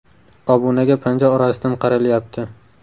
“Obunaga panja orasidan qaralyapti”.